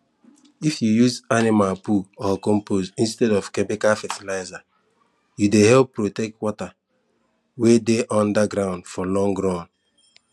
if you use animal poo or compost instead of chemical fertilizer you dey help protect water wey dey under ground for long run